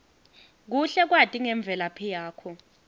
kuhle kwati ngemvelaphi yakho